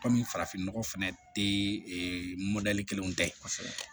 Kɔmi farafin nɔgɔ fɛnɛ tɛ e mɔdɛli kelenw tɛ